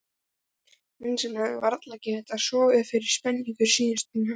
Hann sem hafði varla getað sofið fyrir spenningi síðustu næturnar.